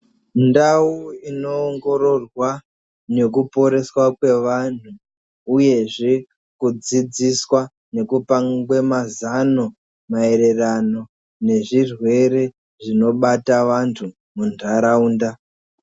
Ndau inoongororwa nekuporeswa kwevantu uyezve kudzidziswa nekupangwe mazano maererano nezvirwere zvinobata vantu munharaunda.